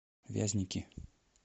вязники